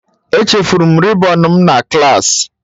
Echefuru m rịbọn m na klaasị.